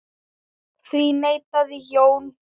Því neitaði Jón.